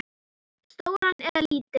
Stóran eða lítinn?